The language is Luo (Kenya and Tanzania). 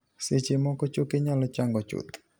Seche moko ,choke nyalo chango chuth.